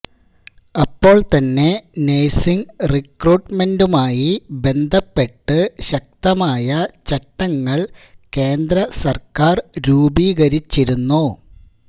അപ്പോൾ തന്നെ നേഴ്സിങ് റിക്രൂട്ടമെന്റുമായി ബന്ധപ്പെട്ട് ശക്തമായ ചട്ടങ്ങൾ കേന്ദ്ര സർക്കാർ രൂപീകരിച്ചിരുന്നു